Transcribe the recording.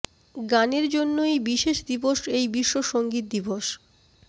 গানের জন্যই বিশেষ দিবস এই বিশ্ব সংগীত দিবস